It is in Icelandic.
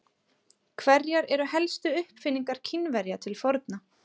Hverjar eru helstu uppfinningar Kínverja til forna?